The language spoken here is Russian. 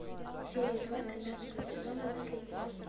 серия два тринадцатого сезона наследие